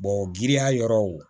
giriya yɔrɔw